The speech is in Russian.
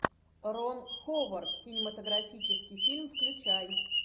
рон ховард кинематографический фильм включай